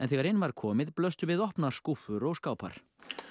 þegar inn var komið blöstu við opnar skúffur og skápar